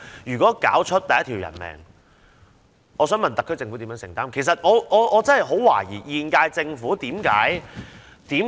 如果搞出第一條人命，我想問特區政府如何承擔，這點我真的很懷疑。